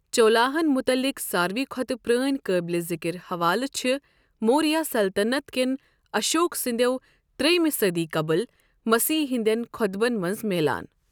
چولاہن مٗتعلق ساروٕے کھوتہٕ پرٲنۍ قٲبلِ ذکر حوالہٕ چھِ موریہ سلطنت کٮ۪ن اشوک سنٛدیو ترٛیمہِ صدی قبل مسیح ہندین خوطبن منز میلان ۔